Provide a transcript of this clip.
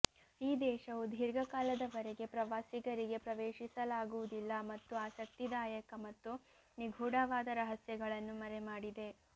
ಈ ದೇಶವು ದೀರ್ಘಕಾಲದವರೆಗೆ ಪ್ರವಾಸಿಗರಿಗೆ ಪ್ರವೇಶಿಸಲಾಗುವುದಿಲ್ಲ ಮತ್ತು ಆಸಕ್ತಿದಾಯಕ ಮತ್ತು ನಿಗೂಢವಾದ ರಹಸ್ಯಗಳನ್ನು ಮರೆಮಾಡಿದೆ